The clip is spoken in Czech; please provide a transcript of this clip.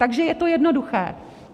Takže je to jednoduché.